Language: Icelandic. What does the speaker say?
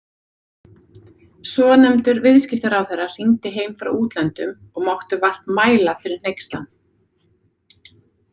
Svonefndur viðskiptaráðherra hringdi heim frá útlöndum og mátti vart mæla fyrir hneykslan.